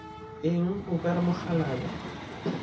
eng o ka re mokgalabje